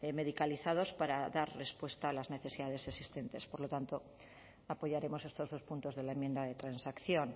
medicalizados para dar respuesta a las necesidades existentes por lo tanto apoyaremos estos dos puntos de la enmienda de transacción